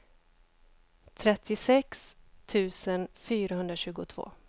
trettiosex tusen fyrahundratjugotvå